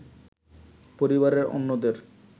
পরিবারের অন্যদের